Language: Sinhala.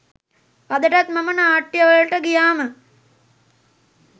අදටත් මම නාට්‍යවලට ගියාම